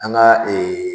An ka ee